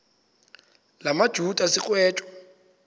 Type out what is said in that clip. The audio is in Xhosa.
la majuda sigwetywa